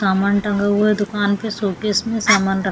सामान टंगा हुए है दुकान के शोकेस में सामान रखा --